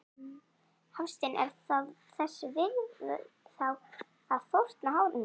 Hafsteinn: Er það þess virði þá að fórna hárinu?